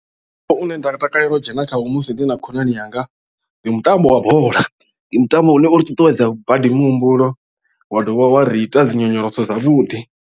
Mutambo une nda nga takalela u dzhena khawo musi ndi na khonani yanga ndi mutambo wa bola ndi mutambo une uri ṱuṱuwedza badi muhumbulo wa dovha wa ri ita dzi nyonyoloso dzavhuḓi.